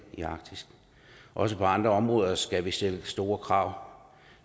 i arktis også på andre områder skal vi stille store krav